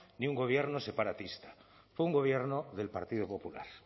ni un gobierno separatista fue un gobierno del partido popular